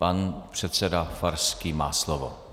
Pan předseda Farský má slovo.